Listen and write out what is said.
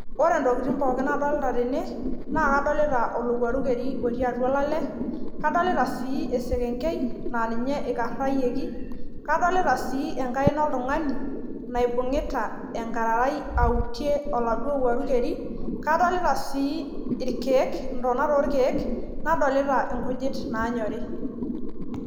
Ore ntokitin pookin nadolita tene naa kadolta olowuaru keri otii olale , kadolita sii esekenkei aa ninye ikarayioki , kadolta sii enkaina oltungani naibungita enkararai autie oladuo owuearu keri, kadolita sii irkiek , ntonat orkiek nadolta nkujit nanyor .